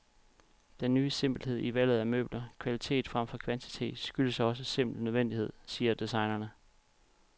Den ny simpelhed i valget af møbler, kvalitet fremfor kvantitet, skyldes også simpel nødvendighed, siger designerne.